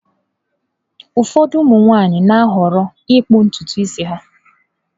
Ụfọdụ ụmụ nwanyị na-ahọrọ ịkpụ ntutu isi ha.